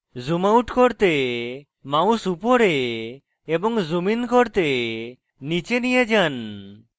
zoom out করতে mouse উপরে এবং zoom in করতে নীচে নিয়ে যান